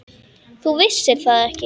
Þú vissir það ekki.